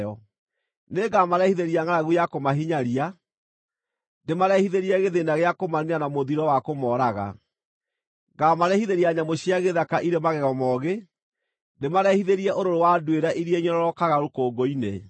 Nĩngamarehithĩria ngʼaragu ya kũmahinyaria, ndĩmarehithĩrie gĩthĩĩna gĩa kũmaniina na mũthiro wa kũmooraga; Ngaamarehithĩria nyamũ cia gĩthaka irĩ magego moogĩ, ndĩmarehithĩrie ũrũrũ wa nduĩra iria inyororokaga rũkũngũ-inĩ.